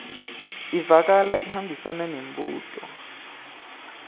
ivakala ihambisana nembuto